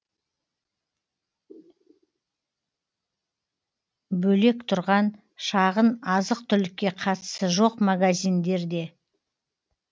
бөлек тұрған шағын азық түлікке қатысы жоқ магазиндерде